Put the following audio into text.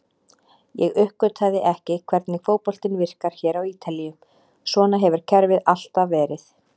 Ég uppgötvaði ekki hvernig fótboltinn virkar hér á Ítalíu, svona hefur kerfið alltaf verið.